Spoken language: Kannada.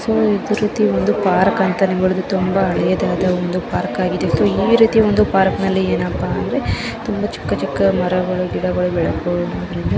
ಸೊ ಇದೆ ರೀತಿಯ ಒಂದು ಪಾರ್ಕ್ ಅಂತ ನಾವು ಹೇಳಬಹುದು. ತುಂಬಾ ಹಳೆದ ಪಾರ್ಕ್ ಆಗಿದೆ. ಇದರಲ್ಲಿ ಏನಪ್ಪಾ ಅಂದ್ರೆ ತುಂಬಾ ಚಿಕ್ಕ ಚಿಕ್ಕ ಮರಗಳು ಗಿಡಗಳು ಬೆಳೆದಿದ್ದರಿಂದ--